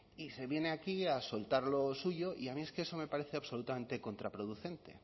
y se viene aquí a soltar lo suyo y a mí es que eso me parece absolutamente contraproducente